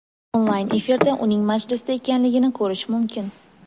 Onlayn efirda uning majlisda ekanligini ko‘rish mumkin.